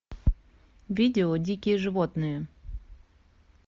видео дикие животные